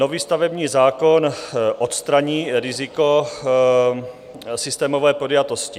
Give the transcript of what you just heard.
Nový stavební zákon odstraní riziko systémové podjatosti.